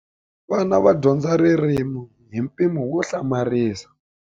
Vana va dyondza ririmi hi mpimo wo hlamarisa.